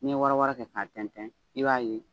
N'i ye wara wara kɛ k'a tɛntɛn i b'a ye